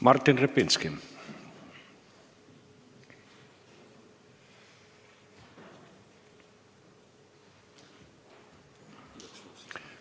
Martin Repinski.